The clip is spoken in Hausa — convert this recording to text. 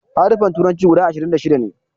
Haruffan turanci guda ashiri da shida ne